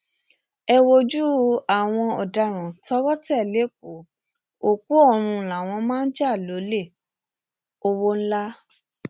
ẹ wojú àwọn ọdaràn tọwọ tẹ lẹkọọ òkú ọrun làwọn máa ń jà lólè ọwọ ńlá